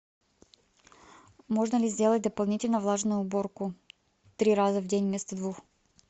можно ли сделать дополнительно влажную уборку три раза в день вместо двух